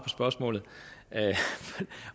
spørgsmålet